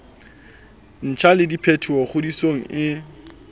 ntjha le diphetolo ngodisong e